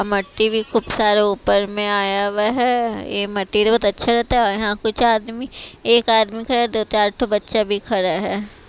मट्टी भी खूब सारा ऊपर में आया हुआ है ये मट्टी तो बहुत अच्छा रहता है यहां कुछ आदमी एक आदमी खड़ा है दो चार बच्चे भी खड़े है।